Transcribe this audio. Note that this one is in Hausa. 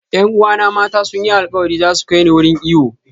Yan uwana mata sun yi alkawari za su kai ni wurin iyo.